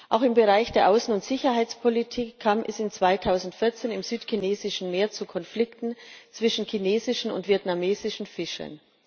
Auch im Bereich der Außen und Sicherheitspolitik kam es 2014 im Südchinesischen Meer zu Konflikten zwischen chinesischen und vietnamesischen Fischern.